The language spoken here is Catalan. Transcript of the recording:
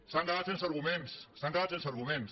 s’han quedat sense arguments s’han quedat sense arguments